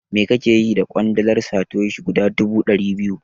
Me kake yi da ƙwandalar Satoshi guda dubu ɗari biyu?